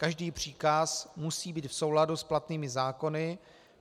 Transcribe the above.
Každý příkaz musí být v souladu s platnými zákony.